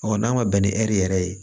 n'an ma bɛn ni ɛri yɛrɛ ye